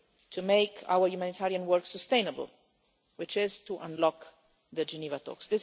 only way to make our humanitarian work sustainable, which is to unlock the Geneva